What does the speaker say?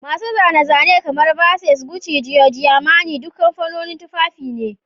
Masu zane-zane kamar Versace, Gucci, giorgioarmani duk kamfanonin tufafi ne